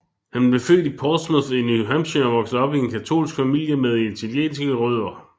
Han blev født i Portsmouth i New Hampshire og voksede op i en katolsk familie med italienske rødder